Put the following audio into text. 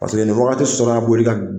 Paseke nin wagati